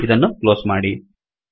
ಇದನ್ನು ಕ್ಲೋಸ್ ಮಾಡಿ